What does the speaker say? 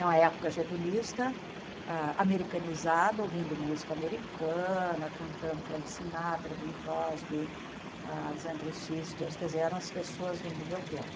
É uma época getulista, ah americanizada, ouvindo música americana, cantando Frank Sinatra, Bing Crosby, as Andrew Sisters, quer dizer, eram as pessoas do do meu tempo.